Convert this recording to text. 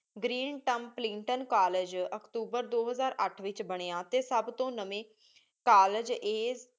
green Templeton college ਅਕਤੂਬਰ ਦੋ ਹਜ਼ਾਰ ਅਠ ਵਿਚ ਬਨਯ ਟੀ ਸਬ ਤੋ ਨਵੀ ਕਾਲਜ ਇਹ